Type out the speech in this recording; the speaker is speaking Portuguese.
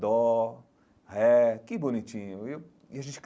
Dó, ré, que bonitinho viu e a gente.